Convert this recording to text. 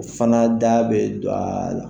Fana da bɛ don a la.